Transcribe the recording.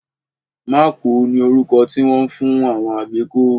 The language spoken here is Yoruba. Mákùú ni orúkọ tí wọ́n ń fún àwọn àbíkú